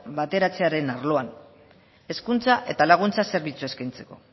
bateratzearen arloan hezkuntza eta laguntza zerbitzua eskaintzeko